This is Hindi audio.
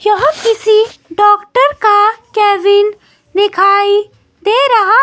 यह किसी डॉक्टर का कैबिन दिखाई दे रहा है।